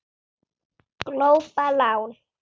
Glópa lán